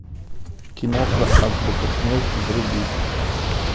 киноха азбука смерти вруби